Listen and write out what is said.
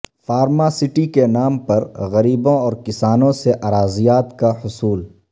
فارماسٹی کے نام پر غریبوں اور کسانوں سے اراضیات کا حصول